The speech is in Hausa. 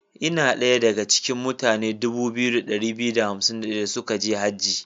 Ina daya da ga cikin mutane 2251 suka je Haji.